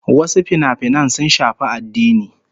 Wasu finafinan sun shafi addini